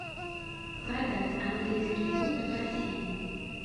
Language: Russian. продать английский фунт в россии